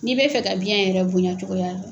N'i bɛ fɛ ka biɲɛ yɛrɛ bonya cogoya don.